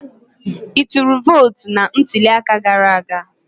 I tụrụ vootu na ntuli aka gara aga?